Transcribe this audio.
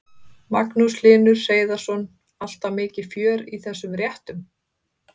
Magnús Hlynur Hreiðarsson: Alltaf mikið fjör í þessum réttum?